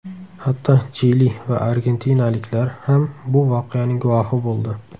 Hatto Chili va argentinaliklar ham bu voqeaning guvohi bo‘ldi .